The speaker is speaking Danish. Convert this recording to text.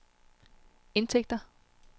indtægter